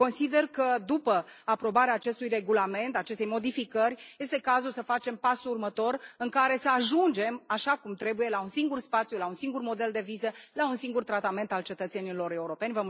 Consider că după aprobarea acestui regulament, a acestei modificări, este cazul să facem pasul următor în care să ajungem, așa cum trebuie, la un singur spațiu, la un singur model de viză, la un singur tratament al cetățenilor europeni.